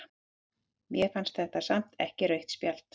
Mér fannst þetta samt ekki rautt spjald.